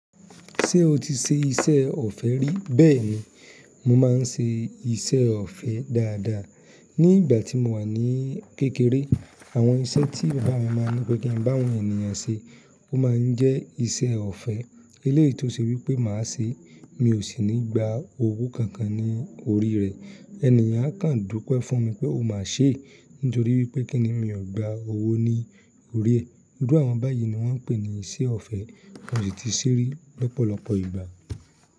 Ṣé o ti ṣe iṣẹ́ ọ̀fẹ́ rí? Bẹ́ẹ̀ni, mo máa ń ṣe iṣẹ́ ọ̀fẹ́ dáadáa. Ní ìgbà tí mo wà ní kékeré, àwọn iṣẹ́ tí bàbá mi máa ń ní pé kí n bá àwọn ènìyàn ṣe, ó máa ń jẹ́ iṣẹ́ ọ̀fẹ́. Eléyìí tó ṣe wípé màá ṣe, mi ò sì ní gba owó kankan ní orí rẹ̀. Ẹ̀níyàn á kàn dúpe fún mi pé ó máa ṣe é nítorí wípé kíni, mi ò gba owó ní orí ẹ. Iru àwọn báyìí ni wọ́n ń pè ní iṣẹ́ ọ̀fẹ́, mo sì ti ṣe é rí lọ́pọ̀lọpọ̀ ìgbà.